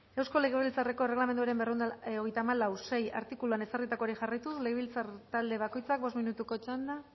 eusko legebiltzarreko erregelamenduaren berrehun eta hogeita hamalau puntu sei artikuluan ezarritakoari jarraituz legebiltzar talde bakoitzak bost minutuko txanda